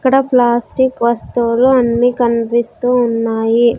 ఇక్కడ ప్లాస్టిక్ వస్తువులు అన్ని కనిపిస్తూ ఉన్నాయి.